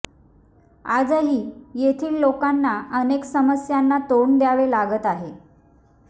आजही येथील लोकांना अनेक समस्यांना तोंड द्यावे लागत आहे